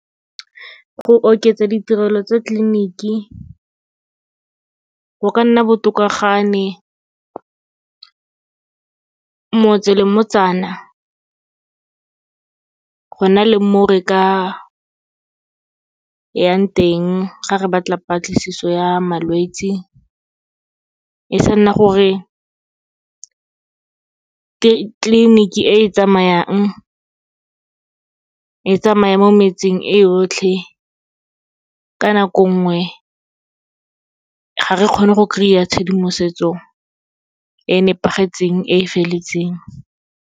Go oketsa ditirelo tsa tleliniki, go ka nna botoka ga ne motse le motsana, go na le mo re ka yang teng, ga re batla patlisiso ya malwetse. E sa nna gore clinic-e e tsamayang, e tsamaya mo metseng e yotlhe, ka nako nngwe ga re kgone go kry-a tshedimosetso, e nepagetseng, e feletseng.